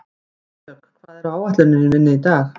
Ísdögg, hvað er á áætluninni minni í dag?